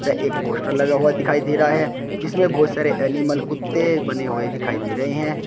वे एक पोस्टर लगा हुआ दिखाई दे रहा है जिसमें बहुत सारे एनिमल कुत्ते बने हुए दिखाई दे रहे हैं।